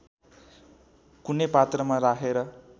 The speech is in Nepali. कुनै पात्रमा राखेर